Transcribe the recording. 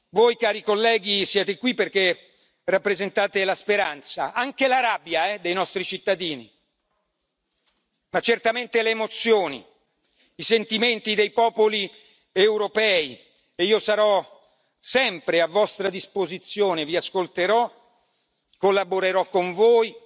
Voi, cari colleghi, siete qui perché rappresentate la speranza anche la rabbia dei nostri cittadini, ma certamente le emozioni, i sentimenti dei popoli europei e io sarò sempre a vostra disposizione vi ascolterò, collaborerò con voi